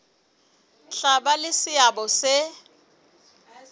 tla ba le seabo se